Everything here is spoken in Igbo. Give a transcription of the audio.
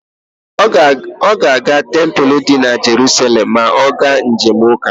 Ọ ga-aga tempulu di na Jeruselem ma ọ ga njem ụka.